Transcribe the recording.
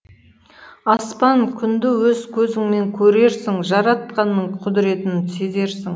аспан күнді өз көзіңмен көрерсің жаратқанның құдіретін сезерсің